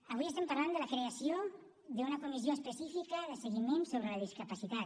avui estem parlant de la creació d’una comissió específica de seguiment sobre la discapacitat